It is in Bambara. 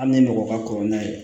Hali ni mɔgɔ ka kɔrɔ n'a ye